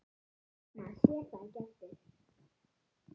Maður sér þá ekki aftur.